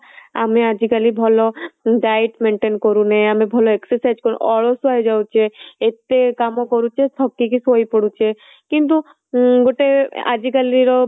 ଆମେ ଜି କାଲି ଭଲ diet maintain କରୁନେ ଆମେ ଭଲ exercise ଅଳସୁଆ ହେଇ ଯାଉଛେ ଏତେ କାମ କରୁଛେ ଥକି କି ଶୋଇ ପଡୁଛେ କିନ୍ତୁ ଗୋଟେ ଆଜିକାଲିର